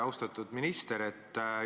Austatud minister!